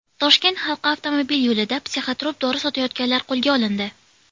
Toshkent halqa avtomobil yo‘lida psixotrop dori sotayotganlar qo‘lga olindi.